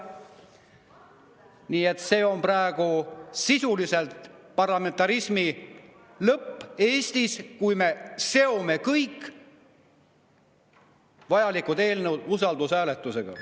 Nii et see on praegu sisuliselt parlamentarismi lõpp Eestis, kui me seome kõik vajalikud eelnõud usaldushääletusega.